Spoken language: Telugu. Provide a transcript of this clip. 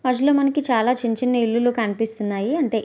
చాలా చిన్న చిన్న ఇల్లు కనిపిస్తున్నాయి అంటే--